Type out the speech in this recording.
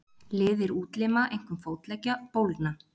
Liðir útlima, einkum fótleggja, bólgna.